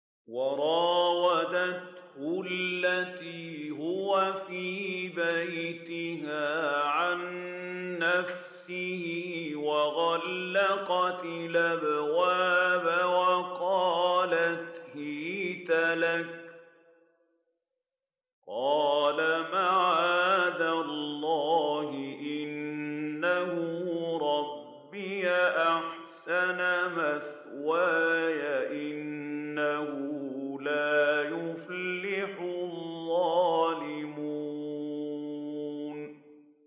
وَرَاوَدَتْهُ الَّتِي هُوَ فِي بَيْتِهَا عَن نَّفْسِهِ وَغَلَّقَتِ الْأَبْوَابَ وَقَالَتْ هَيْتَ لَكَ ۚ قَالَ مَعَاذَ اللَّهِ ۖ إِنَّهُ رَبِّي أَحْسَنَ مَثْوَايَ ۖ إِنَّهُ لَا يُفْلِحُ الظَّالِمُونَ